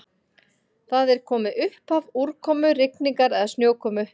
Þar er komið upphaf úrkomu, rigningar eða snjókomu.